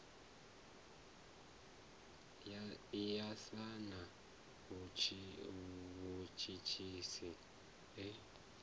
ya sa na mutshutshisi e